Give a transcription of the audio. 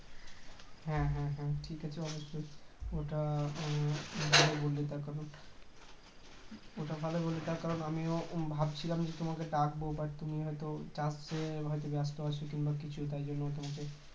হ্যাঁ হ্যাঁ হ্যাঁ ঠিক আছে অবশ্যই ওটা উম ভালো বললে তার কারণ ওটা ভালোই বললে তার কারণ আমিও ভাবছিলাম তোমাকে ডাকব বা তুমি হয়তো . হয়তো ব্যস্ত আছো কিংবা কিছু তার জন্য তোমাকে